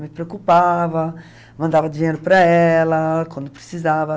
Me preocupava, mandava dinheiro para ela quando precisava.